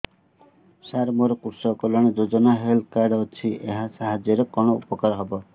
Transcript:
ସାର ମୋର କୃଷକ କଲ୍ୟାଣ ଯୋଜନା ହେଲ୍ଥ କାର୍ଡ ଅଛି ଏହା ସାହାଯ୍ୟ ରେ କଣ ଉପକାର ହବ